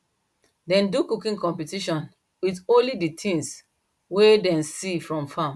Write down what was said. dem do cooking competition with only the things way them see from farm